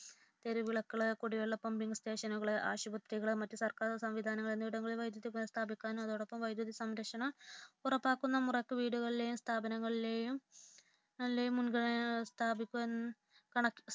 തെരുവ് വിളക്കുകൾ കുടിവെള്ള പമ്പിങ് സ്റ്റേഷനുകൾ ആശുപത്രികൾ മറ്റു സർക്കാർ സംവിധാനങ്ങൾ വൈദ്യുതി പുനഃസ്ഥാപിക്കാൻ ആട്ടോടൊപ്പം വൈദ്യുതി സംരക്ഷണം ഉറപ്പാക്കുന്ന മുറയ്ക്ക് വീടുകളിലെയും സ്ഥാപനങ്ങളിലെയും